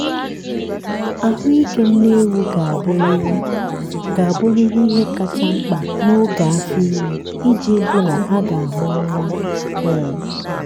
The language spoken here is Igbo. ahụ ike nne ewu ga-abụrịrị ga-abụrịrị ihe kacha mkpa n'oge afọ ime iji hụ na a ga-amụ nwa. um